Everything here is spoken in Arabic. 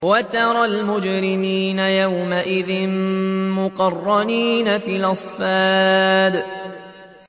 وَتَرَى الْمُجْرِمِينَ يَوْمَئِذٍ مُّقَرَّنِينَ فِي الْأَصْفَادِ